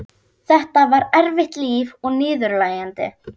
Þetta var erfitt líf og niðurlægjandi.